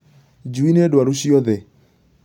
Njui nĩ ndwaru ciothe